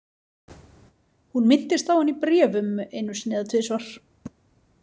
Hún minntist á hann í bréfum einu sinni eða tvisvar.